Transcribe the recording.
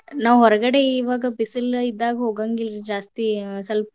ನಾವ್ ಹೊರಗಡೆ ಇವಾಗ ಬಿಸಿಲ್ ಇದ್ದಾಗ ಹೋಗಂಗಿಲ್ರಿ ಜಾಸ್ತಿ ಸ್ವಲ್ಪ